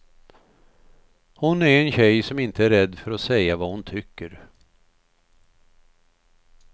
Hon är en tjej som inte är rädd för att säga vad hon tycker.